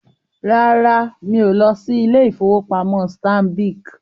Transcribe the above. Rárá, mí o lọ sí ilé-ìfowópamọ́ Stanbic